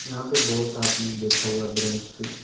यहां पे बहोत आदमी बैठा हुआ ब्रेंच पे--